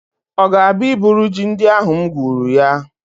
Ọ ga-abịa iburu ji ndị ahụ m gwuru ya?